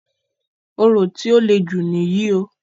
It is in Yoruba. Orò tí o lè jù níyì o.